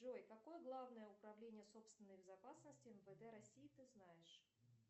джой какое главное управление собственной безопасности мвд россии ты знаешь